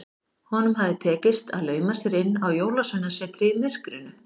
Honum hafði tekist að lauma sér inn á Jólasveinasetrið í myrkrinu.